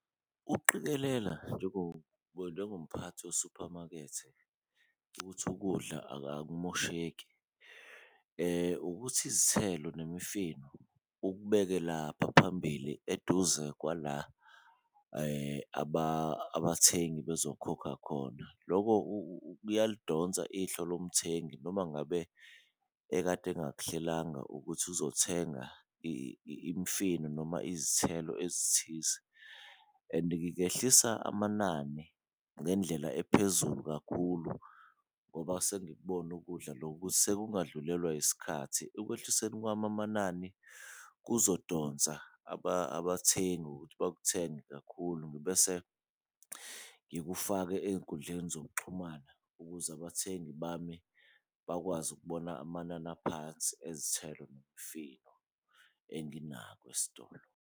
Ukuqikelela njengomphathi wesuphamakethe ukuthi ukudla akumosheki ukuthi izithelo nemifino ukubeke lapha phambili eduze kwala abathengi khona bezokhokha khona. Loko kuyalidonsa ihlo lomthengi noma ngabe ekade engakuhlelanga ukuthi uzothenga imifino noma izithelo ezithize, and ngingehlisa amanani ngendlela ephezulu kakhulu ngoba sengikubona ukudla lokhu ukuthi sekungadlulelwa isikhathi. Ekwehliseni kwami amanani kuzodonsa abathengi ngokuthi bakuthenge kakhulu ngibese ngikufake eyinkundleni zokuxhumana, ukuze abathengi bami bakwazi ukubona amanani aphansi ezithelo nemifino enginako esitolo.